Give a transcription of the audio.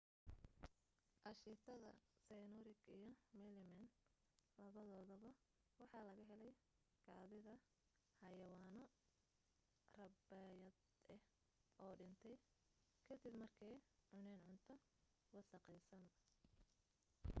aashiitada cyanuric iyo melamin labadoodaba waxa laga helay kaadida xaywawaano rabbaayad ah oo dhintay ka dib markay cuneen cunto wasakhaysan